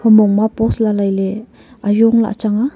humong ma pos lai lai ley ajong lah chang nga.